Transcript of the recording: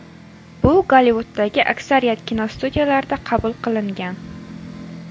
Bu Gollivuddagi aksariyat kinostudiyalarda qabul qilingan.